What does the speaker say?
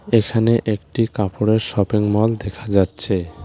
এখানে একটি কাপড়ের শপিং মল দেখা যাচ্ছে।